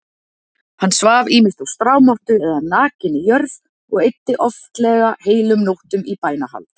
Hann svaf ýmist á strámottu eða nakinni jörð og eyddi oftlega heilum nóttum í bænahald.